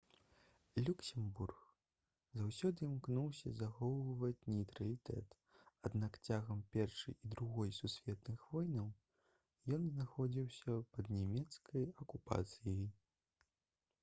люксембург заўсёды імкнуўся захоўваць нейтралітэт аднак цягам першай і другой сусветных войнаў ён знаходзіўся пад нямецкай акупацыяй